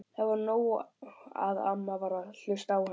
Það var nóg að amma varð að hlusta á hann.